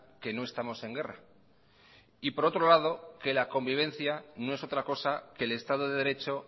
que no estamos en guerra y por otro lado que la convivencia no es otra cosa que el estado de derecho